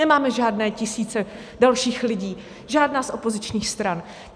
Nemáme žádné tisíce dalších lidí, žádná z opozičních stran.